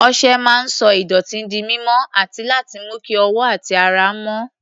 Ọṣẹ máa ń sọ ìdọ̀tí di mímọ́ àti láti mú kí ọwọ́ àti ara mọ́.